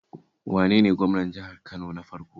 Wane ne gwamnan jihar Kano na farko?